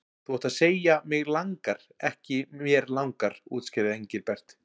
Þú átt að segja mig langar, ekki mér langar útskýrði Engilbert.